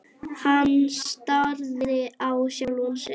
Hann starði á sjálfan sig.